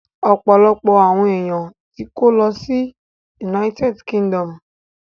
Ọ̀pọ̀lọpọ̀ àwọn èèyàn tó kó lọ sí United Kingdom